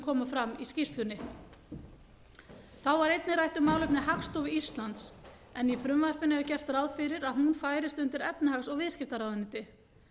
koma fram í skýrslunni þá var einnig rætt um málefni hagstofu íslands en í frumvarpinu er gert ráð fyrir að hún færist undir efnahags og viðskiptaráðuneyti